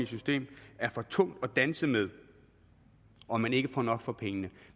system er for tungt at danse med og man ikke får nok for pengene